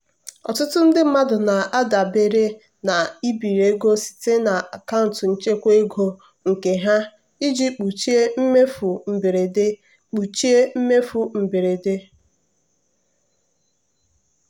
ọtụtụ ndị mmadụ na-adabere na ibiri ego site na akaụntụ nchekwa ego nke ha iji kpuchie mmefu mberede. kpuchie mmefu mberede.